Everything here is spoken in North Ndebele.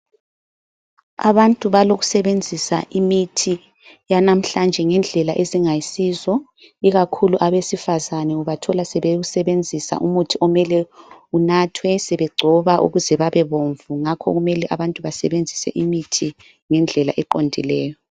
Abantu balokusebenzisa imithi yanamhlanje ngendlela ezingayisizo, ikakhulu abesifazana ubathola sebewusebenzisa umuthi okumele unathwe sebegcoba ukuze babebomvu ngakho kumele abantu basebenzise imithi ngendlela eqondileyo.